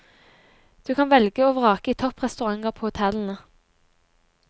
Du kan velge og vrake i topp restauranter på hotellene.